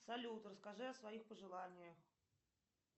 салют расскажи о своих пожеланиях